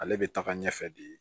Ale bɛ taga ɲɛfɛ de